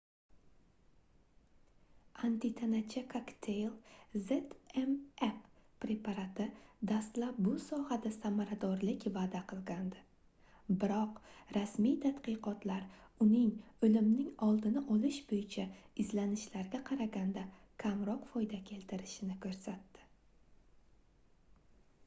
antitanacha kokteyl zmapp preparati dastlab bu sohada samaradorlik vaʼda qilgandi biroq rasmiy tadqiqotlar uning oʻlimning oldini olish boʻyicha izlanishlarga qaraganda kamroq foyda keltirishini koʻrsatdi